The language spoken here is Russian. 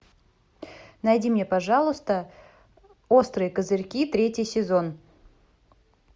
найди мне пожалуйста острые козырьки третий сезон